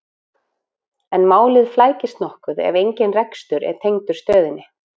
En málið flækist nokkuð ef engin rekstur er tengdur stöðinni.